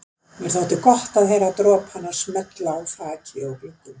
Mér þótti gott að heyra dropana smella á þaki og gluggum.